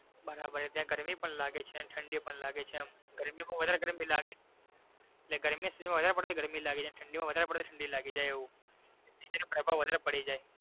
બરાબર છે ત્યાં ગરમી પણ લાગે છે ને ઠંડી પણ લાગે છે એમ ગરમી માં વધારે પડતી ગરમી લાગી જાય અને ઠંડી માં વધારે ઠંડી લાગી જાય એવું એક બીજા નો પ્રભાવ વધારે પડી જાય.